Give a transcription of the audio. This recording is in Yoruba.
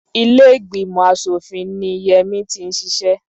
Ilé ìgbìmọ̀ aṣòfin ni Yẹmí ti ń ṣiṣẹ́.